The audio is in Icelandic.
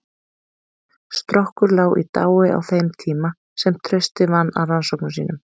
Strokkur lá í dái á þeim tíma sem Trausti vann að rannsóknum sínum.